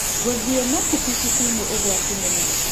Gũthiĩ na kibikibi nĩ ũgwati mũno.